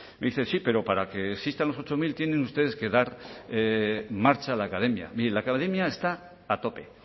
me dice sí pero para que existan los ocho mil tienen ustedes que dar marcha a la academia mire la academia está a tope